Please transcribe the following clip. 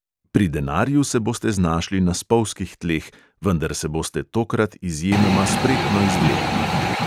Pri denarju se boste znašli na spolzkih tleh, vendar se boste tokrat izjemoma spretno izvlekli.